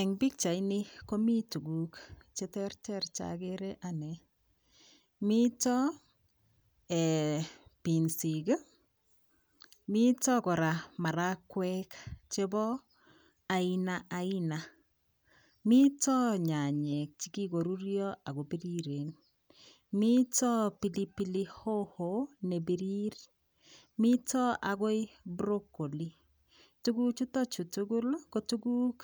Eng pikchaini komi tukuk cheterter chagere ane mito pinsik mito kora marakwek chebo ainaaina mito nyanyek chekikoruryo ako piriren mito pili pili hoho nepirir mito akoi broccoli tukuchuto hi tugul ko tukuk